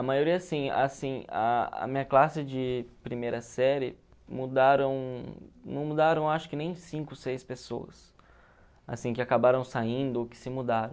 A maioria sim, assim, a a minha classe de primeira série mudaram, não mudaram acho que nem cinco, seis pessoas, assim, que acabaram saindo ou que se mudaram.